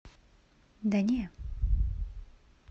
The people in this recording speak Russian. да не